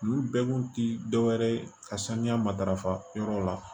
Olu bɛɛ kun ti dɔwɛrɛ ye ka sanuya matarafa yɔrɔw la